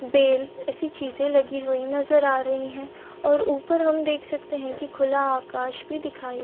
bell जैसी चीज़े लगी हुई नज़र आ रही है और ऊपर हम देख सकते है की खुला आकाश भी दिखाई--